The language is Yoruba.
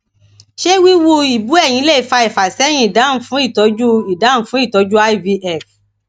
se wiwu ibúẹyin le fa ifaseyin idahun fun itoju idahun fun itoju ivf